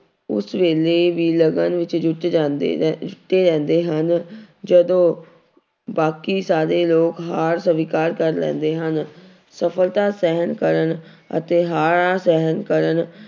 ਉਸ ਵੇਲੇ ਵੀ ਲਗਨ ਵਿੱਚ ਜੁੱਟ ਜਾਂਦੇ ਨੇ ਲੱਗੇ ਰਹਿੰਦੇ ਹਨ ਜਦੋਂ ਬਾਕੀ ਸਾਰੇ ਲੋਕ ਹਾਰ ਸਵੀਕਾਰ ਕਰ ਲੈਂਦੇ ਹਨ ਸਫ਼ਲਤਾ ਸਹਿਣ ਕਰਨ ਅਤੇ ਹਾਰਾਂ ਸਹਿਣ ਕਰਨ